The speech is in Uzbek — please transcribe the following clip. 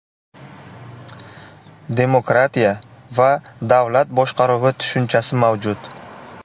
Demokratiya va davlat boshqaruvi tushunchasi mavjud.